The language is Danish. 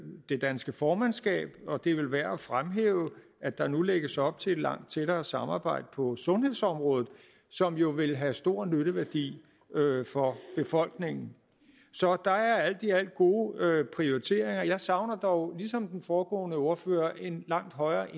det danske formandskab og det er vel værd at fremhæve at der nu lægges op til et langt tættere samarbejde på sundhedsområdet som jo vil have stor nytteværdi for befolkningen så der er alt i alt gode prioriteringer jeg savner dog ligesom den foregående ordfører en langt højere